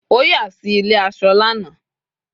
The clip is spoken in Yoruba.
o ya si ile aso láàna